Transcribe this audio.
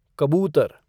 कबूतर